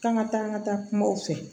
K'an ka taa an ka taa kumaw fɛ